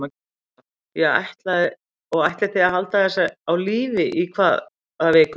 Lóa: Og ætlið þið að halda þessu á lífi í hvað viku?